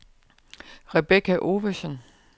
Rebecca Ovesen